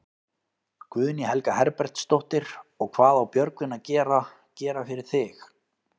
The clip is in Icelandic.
Guðný Helga Herbertsdóttir: Og hvað á Björgvin að gera, gera fyrir þig?